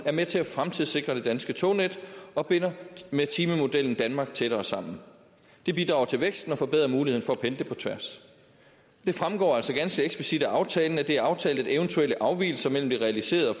er med til at fremtidssikre det danske tognet og binder med timemodellen danmark tættere sammen det bidrager til væksten og forbedrer muligheden for at pendle på tværs det fremgår altså ganske eksplicit af aftalen at det er aftalt at eventuelle afvigelser mellem det realiserede og